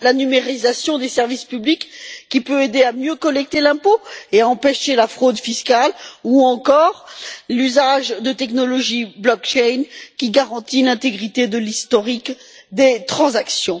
la numérisation des services publics, qui peut aider à mieux collecter l'impôt et à empêcher la fraude fiscale, ou encore l'usage de technologies blockchain qui garantit l'intégrité de l'historique des transactions.